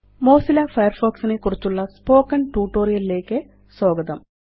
Mozilla Firefox നെക്കുറിച്ചുള്ള spoken tutorial ലേയ്ക്ക് സ്വാഗതം